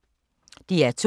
DR2